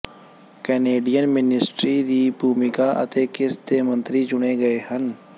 Canadian ministry ਦੀ ਭੂਮਿਕਾ ਅਤੇ ਕਿਸ ਦੇ ਮੰਤਰੀ ਚੁਣੇ ਗਏ ਹਨ